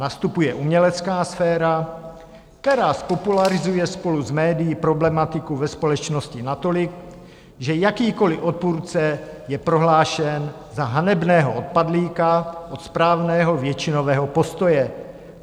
Nastupuje umělecká sféra, která zpopularizuje spolu s médii problematiku ve společnosti natolik, že jakýkoliv odpůrce je prohlášen za hanebného odpadlíka od správného většinového postoje.